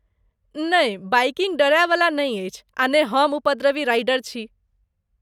नहि, बाइकिंग डरयवला नहि अछि आ ने हम उपद्रवी राइडर छी।